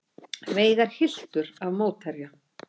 Veigar hylltur af mótherja